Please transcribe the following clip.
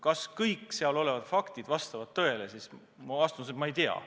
Kas kõik seal kirjas olev vastab tõele?